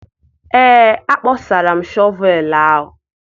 ee, akpọsara m shọvel ahụ